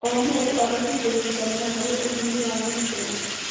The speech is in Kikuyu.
O mũndũ abatiĩ kũnyitanĩra harĩ ũthii wa na mbere.